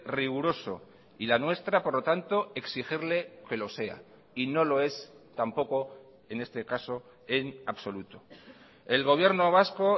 riguroso y la nuestra por lo tanto exigirle que lo sea y no lo es tampoco en este caso en absoluto el gobierno vasco